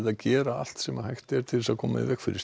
að gera allt sem hægt er til að koma í veg fyrir